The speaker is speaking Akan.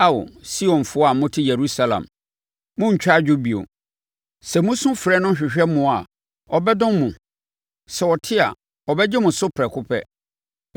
Ao, Sionfoɔ a mote Yerusalem, morentwa adwo bio. Sɛ mosu frɛ no hwehwɛ mmoa a, ɔbɛdom mo! Sɛ ɔte a, ɔbɛgye mo so prɛko pɛ.